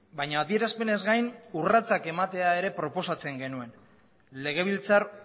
baina adierazpenez gain urratsak ematea ere proposatzen genuen legebiltzar